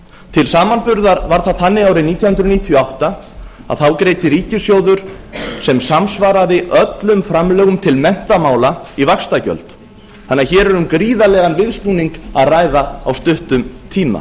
til samanburðar var það þannig árið nítján hundruð níutíu og átta að þá greiddi ríkissjóður sem samsvaraði öllum framlögum til menntamála í vaxtagjöld hér er um gríðarlegan viðsnúning að ræða á stuttum tíma